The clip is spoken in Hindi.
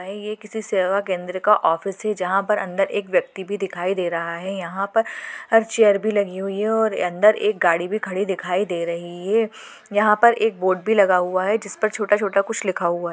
किसी सेवा केंद्र का ऑफिस है जहां पर अंदर एक व्यक्ति भी दिखाई दे रहा है यहां पर चेयर भी लगी हुई है और अंदर एक गाड़ी भी दिखाई दे रही है यहाँ पर एक बोर्ड भी लगा हुआ है जिस पर छोटा-छोटा कुछ लिखा हुआ है।